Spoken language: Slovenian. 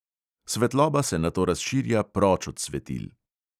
Svetloba se nato razširja proč od svetil.